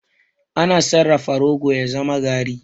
Ana sarrafa rogo ya zama garri.